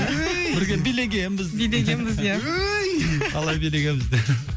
бірге билегенбіз билегенбіз ия талай билегенбіз де